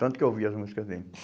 Tanto que eu ouvia as músicas dele.